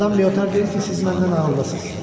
Madam Leotar deyir ki, siz məndən ağıllısınız.